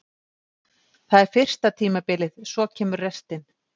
Það er fyrsta tímabilið, svo kemur restin.